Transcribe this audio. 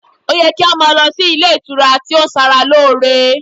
o ye ki a lo sí ilé ìtura ti o n Sara lore